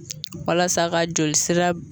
Walasa ka jolisira